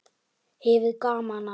Hefur gaman af.